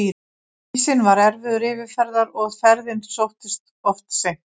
Ísinn var erfiður yfirferðar og ferðin sóttist of seint.